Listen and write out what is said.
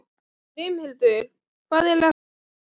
Brimhildur, hvað er að frétta?